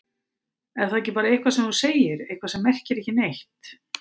Er það ekki bara eitthvað sem þú segir, eitthvað sem merkir ekki neitt?